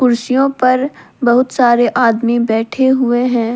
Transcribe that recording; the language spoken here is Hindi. कुर्सियों पर बहुत सारे आदमी बैठे हुए हैं।